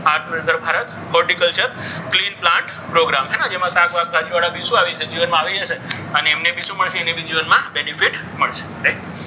આત્મ નિર્ભર Bharat horticulture clean plant program જેમાં શાકભાજીવાળા શું આવી છે? જીવનમાં આવી જશે. અને એમને શું મળશે? એમને બી જીવનમાં benefit મળશે. right